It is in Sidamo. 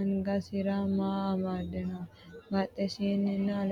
angasera maa amaddino? badheseenninna albaseenni maye nooro buuxxe la"o?